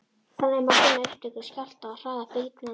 Þannig má finna upptök skjálfta og hraða bylgnanna.